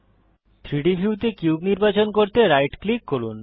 3ডি ভিউতে কিউব নির্বাচন করতে রাইট ক্লিক করুন